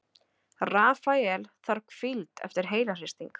Rafael þarf hvíld eftir heilahristing